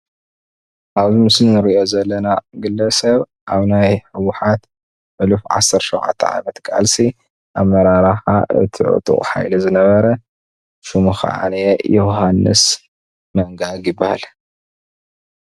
ኣብዚ ምስሊ ንሪኦ ዘለና ግለሰብ ኣብ ናይ ህወሓት ሕሉፍ ዓሰርተ ሸዉዓተ ዓመት ቃልሲ ኣመራርሓ እቲ ዕጡቅ ሓይሊ ዝነበረ ሹሙ ከዓ ዮዉሃንስ መንጋግ ይበሃል።